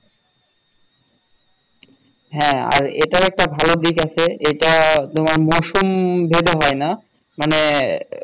হ্যাঁ আর এটার একটা ভালো দিক আছে এটা তোমার মৌসুম ভেদে হয় না মানে